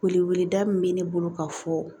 Wele weleda min bɛ ne bolo ka fɔ